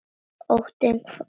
Óttinn hvarf þegar ég kom.